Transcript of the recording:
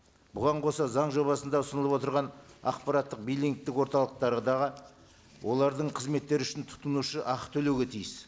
бұған қоса заң жобасында ұсынылып отырған ақпараттық биллингтік орталықтардағы олардың қызметтері үшін тұтынушы ақы төлеуге тиіс